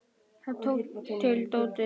Hann tók til dótið.